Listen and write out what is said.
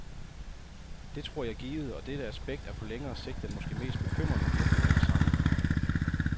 Det tror jeg givet, og dette aspekt er på længere sigt den måske mest bekymrende virkning af massakrerne.